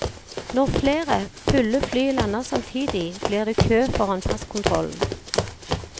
Når flere, fulle fly lander samtidig, blir det kø foran passkontrollen.